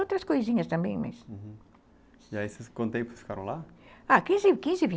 Outras coisinhas também, mas, uhum... E aí vocês, quanto tempo vocês ficaram lá? Ah,